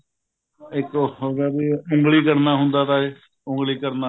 ਇੱਕ ਉਹ ਹੋਗਿਆ ਵੀ ਉੱਗਲੀ ਕਰਨਾ ਹੁੰਦਾ ਤਾ ਉੱਗਲੀ ਕਰਨਾ